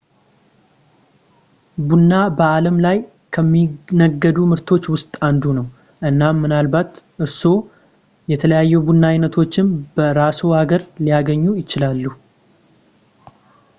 ቡና በአለም ላይ ከሚነገዱ ምርቶች ውስጥ አንዱ ነው እናም ምናልባት እርስዎም የተለያዩ የቡና አይነቶችን በራስዎ ሀገር ሊያገኙ ይችላሉ